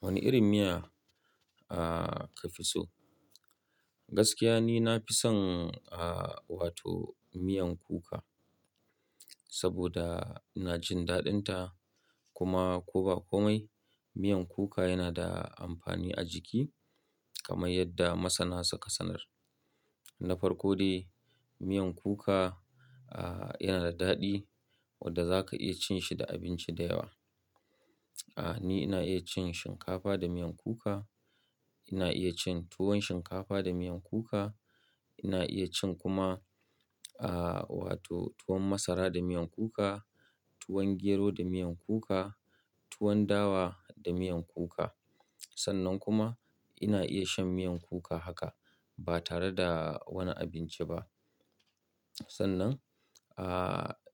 Wani irin miya a ka fi so? Gaskiya ni na fi son, wato miyan kuka. Saboda ina jin daɗin ta, kuma ko ba komai miyan kuka yana da amfani a jiki kamar yadda masana suka sanar. Na farko dai, miyan kuka, ah, yana da daɗi wadda za ka iya cin shi da abinci da yawa. Ah, ni ina iya cin shinkafa da miyan kuka, ina iya cin tuwon shinkafa da miyan kuka, ina iya cin kuma, wato tuwon masara da miyan kuka, tuwon gero da miyan kuka, tuwon dawa da miyan kuka. Sannan kuma ina iya shan miyan kuka haka ba tare da wani abinci ba. Sannan,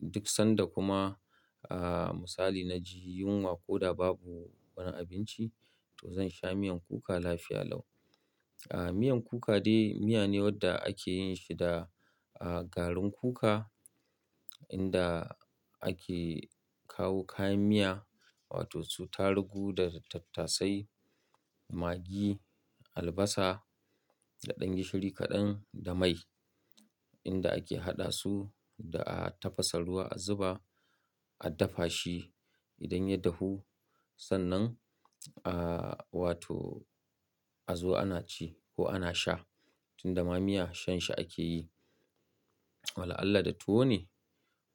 duk sanda kuma, misali na ji yunwa ko da babu wani abinci to zan sha miyan kuka lafiya lau. Ah, miyan kuka dai miya ne wadda ake yin shi da, garin kuka, inda ake kawo kayan miya wato su tarugu da tattasai, magi, albasa da ɗan gishiri kaɗan da mai. Inda ake haɗa su da a tafasa ruwa a zuba, a dafa shi. Idan ya dahu sannan, ah, wato a zo ana ci ko ana sha. Tunda ma miya shan shi ake yi. Wala alla da tuwo ne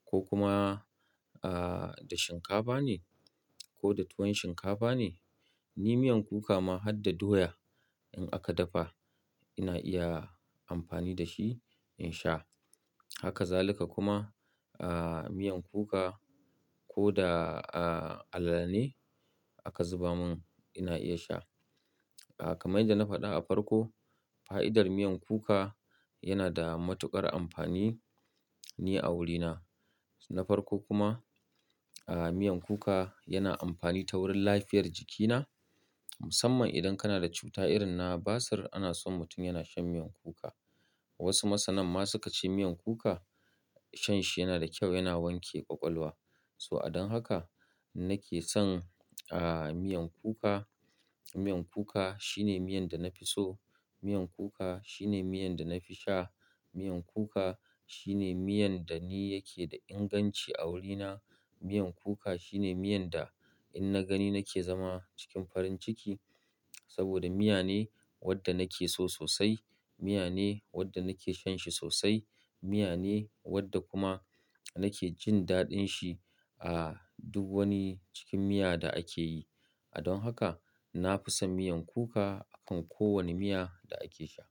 ko kuma, da shinkafa ne ko da tuwon shinkafa ne. Ni miyan kuka ma harda doya in aka dafa ina iya amfani da shi in sha. Haka zaluka kuma, miyan kuka ko da, alale ne aka zuba mun ina iya sha. Kamar yadda na faɗa a farko, fa'idar miyan kuka yana da matuƙar amfani ni a wurina. Na farko kuma, miyan kuka yana amfani ta wurin lafiyar jikina. Musamman idan kana da cuta irin na basir ana son mutum yana shan miyan kuka. Wasu masanan ma su ka ce miyan kuka shan shi yana da kyau yana wanke ƙwaƙwalwa. So don haka nake son, ah, miyan kuka. Miyan kuka shine miyan da na fi so. Miyan kuka shine miyan da na fi sha. Miyan kuka shine miyan da ni yake da inganci a wurina. Miyan kuka shine miyan da in na gani nake zama cikin farin ciki. Saboda miya ne wadda na ke so sosai, miya ne wadda na ke shan shi sosai, miya ne wadda kuma na ke jin daɗin shi a duk wani cikin miya da ake yi. Don haka na fi son miyan kuka akan ko wani miya da ake sha.